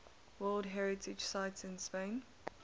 world heritage sites in spain